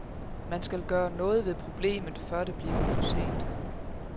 Man skal gøre noget ved problemet, før det bliver for sent.